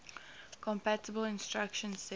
compatible instruction set